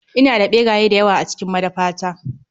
Ina da ɓeraye dayawa a cikin madafata.